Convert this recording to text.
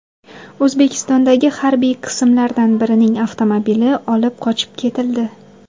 O‘zbekistondagi harbiy qismlardan birining avtomobili olib qochib ketildi.